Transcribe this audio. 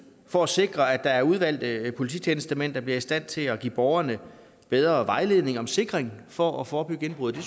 for at sikre at der er udvalgte polititjenestemænd der bliver i stand til at give borgerne bedre vejledning om sikring for at forebygge indbrud det